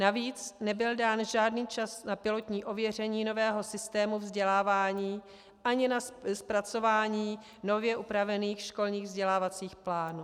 Navíc nebyl dán žádný čas na pilotní ověření nového systému vzdělávání ani na zpracování nově upravených školních vzdělávacích plánů.